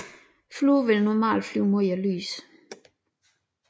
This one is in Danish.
Fluer vil normalt flyve mod lyset